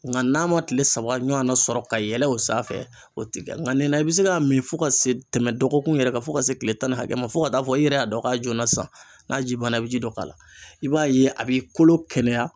Nga n'a ma kile saba ɲɔgɔnna sɔrɔ ka yɛlɛ o sanfɛ o ti kɛ nka nin na i be se ka min fɔ ka se tɛmɛ dɔgɔkun yɛrɛ kan fo ka se kile tan ni hakɛ ma fo ka taa fɔ i yɛrɛ y'a dɔn k'a joona sisan n'a ji banna i bɛ ji dɔ k'a la i b'a ye a b'i kolo kɛnɛya